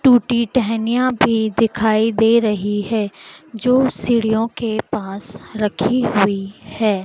टूटी टहनियां भी दिखाई दे रही है जो सीढ़ियों के पास रखी हुई है।